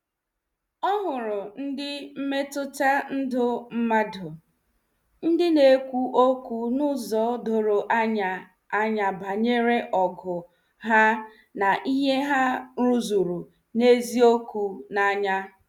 Ọ hụrụ ndị mmetụta ndụ mmadụ, ndị na-ekwu okwu n'uzo doro anya anya banyere ogu ha na ihe ha rụzuru n'eziokwu n'anya.